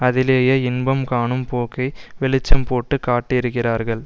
அதிலேயே இன்பம் காணும் போக்கை வெளிச்சம் போட்டு காட்டியிருக்கிறார்கள்